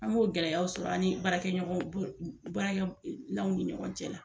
An b'o gɛlɛyaw sɔrɔ ani baarakɛ ɲɔgɔnw bolo baarakɛ law ni ɲɔgɔn cɛ.